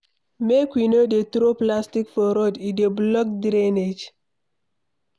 Make we no dey throw plastic for road, e dey block drainage